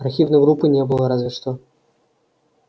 архивной группы не было разве что